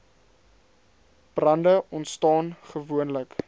brande ontstaan gewoonlik